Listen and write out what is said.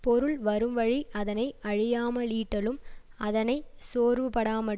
பொருள் வரும்வழி அதனை அழியாம லீட்டலும் அதனை சோர்வுபடாமற்